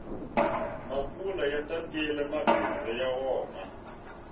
makula ya tatile mabindzu ya wona